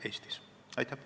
Aitäh!